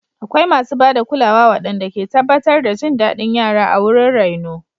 Akwai masu ba da kulawa waɗanda ke tabbatar da jin daɗin yara a wurin raino.